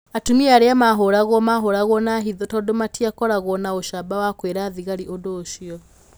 Atumia arĩa mahũragwo mahũragwo na hitho tondũ matikoragwo na ũcamba wa kwĩra thigari ũndũ ũcio.